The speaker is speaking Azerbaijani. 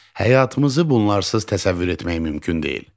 Həyatımızı bunlarsız təsəvvür etmək mümkün deyil.